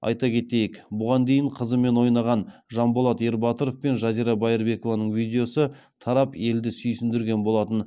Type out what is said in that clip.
айта кетейік бұған дейін қызымен ойнаған жанболат ербатыров пен жазира байырбекованың видеосы тарап елді сүйсіндірген болатын